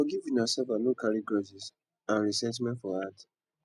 forgive una self and no carry grudges and resentment for heart